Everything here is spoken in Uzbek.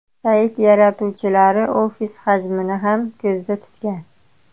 Sayt yaratuvchilari ofis hajmini ham ko‘zda tutgan.